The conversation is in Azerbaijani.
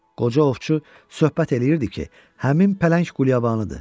Qoca ovçu söhbət eləyirdi ki, həmin pələng qulyabanıdır.